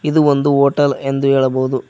ಇದು ಒಂದು ಹೋಟಲ್ ಎಂದು ಹೇಳಬಹುದು.